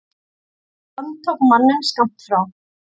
Lögregla handtók manninn skammt frá.